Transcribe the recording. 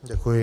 Děkuji.